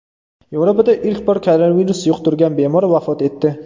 Yevropada ilk bor koronavirus yuqtirgan bemor vafot etdi.